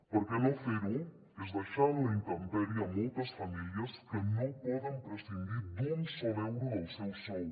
perquè no fer ho és deixar en la intempèrie moltes famílies que no poden prescindir d’un sol euro del seu sou